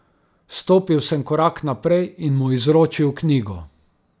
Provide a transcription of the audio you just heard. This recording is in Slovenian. Stopil sem korak naprej in mu izročil knjigo.